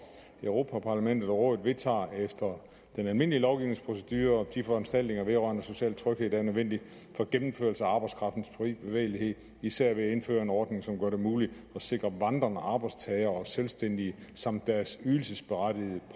europa parlamentet og rådet vedtager efter den almindelige lovgivningsprocedure de foranstaltninger vedrørende social tryghed der er nødvendige for at gennemføre arbejdskraftens frie bevægelighed især ved at indføre en ordning som gør det muligt at sikre vandrende arbejdstagere og selvstændige samt deres ydelsesberettigede